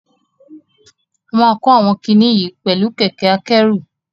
A máa kó àwọn kiní yìí oẹ̀lú kẹ̀kẹ́ akẹ́rù.